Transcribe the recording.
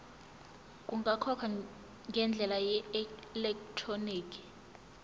kungakhokhwa ngendlela yeelektroniki